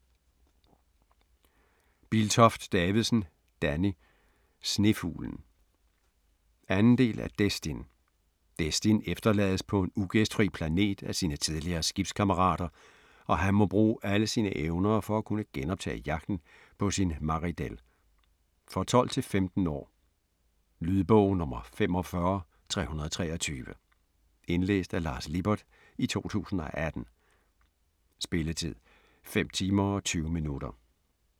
Biltoft Davidsen, Danny: Snefuglen 2. del af Destin. Destin efterlades på en ugæstfri planet af hans tidligere skibskammerater, og han må bruge alle sine evner for at kunne genoptage jagten på sin Maridel. For 12-15 år. Lydbog 45323 Indlæst af Lars Lippert, 2018. Spilletid: 5 timer, 20 minutter.